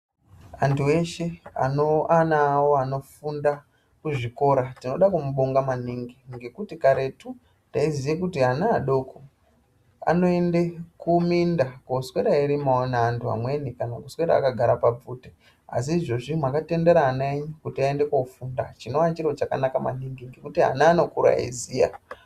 Antu eshe ane ana awo anofunde kuzvikora tinoda kumubonga maningi ngekuti karetu taiziye kuti ana adoko anoende kuminda koswera eirimawo neanhu amweni kana kuswera akagara pabvute asi izvozvi mwakatendera ana enyu kuti aende kofunda chinova chiro chakanaka maningi ngokuti ana anokura eiziya.